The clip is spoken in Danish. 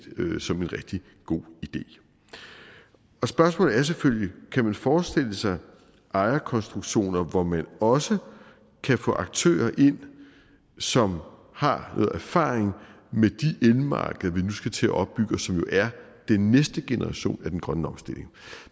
som en rigtig god idé spørgsmålet er selvfølgelig kan man forestille sig ejerkonstruktioner hvor man også kan få aktører ind som har noget erfaring med de elmarkeder vi nu skal til at opbygge og som jo er den næste generation af den grønne omstilling